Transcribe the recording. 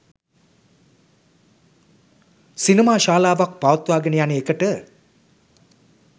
සිනමා ශාලාවක් පවත්වාගෙන යන එකට